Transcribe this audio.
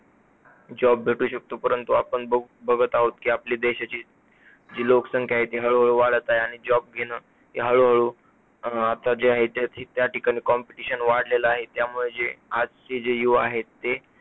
job भेटू शकतो परंतु आपण बघू बघत आहोत की आपल्या देशाची जी लोकसंख्या आहे ती हळू हळू वाढत आहे आणि job घेणं हे हळू हळू अं आता जे आहे या ठिकाणी competition वाढलेला आहे. त्यामुळे जे आजचे जे युवा आहेत ते